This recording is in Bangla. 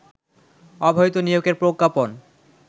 অবৈধ নিয়োগের প্রজ্ঞাপন